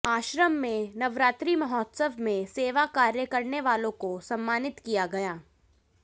आश्रम में नवरात्रि महोत्सव में सेवा कार्य करने वालों को सम्मानित किया गया